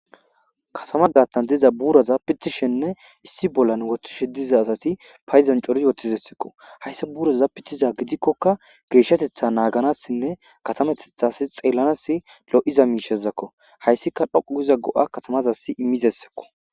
Katamma gaththan de'iza buraza pitishenne issi bolla woththishshe diza asati Payidon cori utidesikko hayssa buraza pitikoka geshshateththa naganasinne katameteththas xelanas lo'iza mishazakko hayisikka dhoqu giza go'a katamazassi imizayssakko